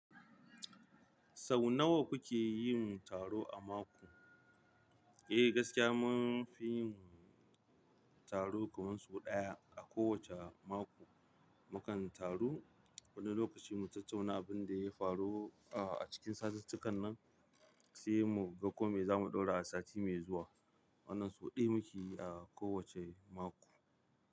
Sau nawa kuke yin taro a mako? Eh gaskiya mun fi yin taro kamar sau ɗaya a kowace mako. Mukan taru wani lokaci mu tattauna abin da ya faru, uh, a cikin satuttukan nan, sai mu ga ko me zamu ɗora a sati mai zuwa. Wannan su huɗu muke yi a kowacce mako.